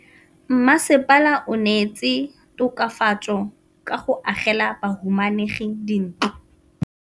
Mmasepala o neetse tokafatsô ka go agela bahumanegi dintlo.